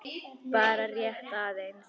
Bara rétt aðeins.